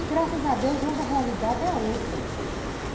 E graças a Deus hoje a realidade é outra.